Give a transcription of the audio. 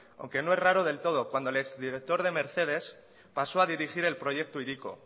aunque no es raro del todo cuando el ex director de mercedes pasó a dirigir el proyecto hiriko